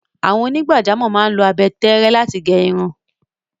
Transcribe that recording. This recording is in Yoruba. Àwọn onígbàjámọ̀ máa ń lo abẹ tẹ́ẹ́rẹ́ láti gẹ irun.